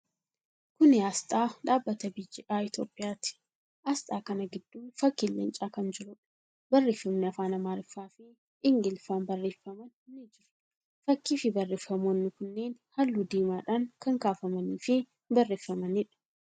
Kuni aasxaa dhaabbata BGI Itiyoophiyyaati. Aasxaa kana gidduu fakkiin Leencaa kan jiruudha. Barreeffamni afaan Amaariffaa fi Ingiliffaan barreeffaman ni jiru. Fakkii fi barreeffamootni kunneeni halluu diimadhaan kan kaafamanii fi barreeffamaniidha.